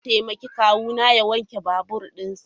Zan taimaki kawuna ya wanke babur dinsa.